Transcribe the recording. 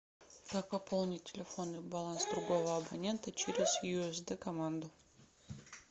как пополнить телефонный баланс другого абонента через юсд команду